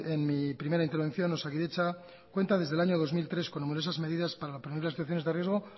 en mi primera intervención osakidetza cuenta desde año dos mil tres con numerosas medidas para prevenir las situaciones de riesgo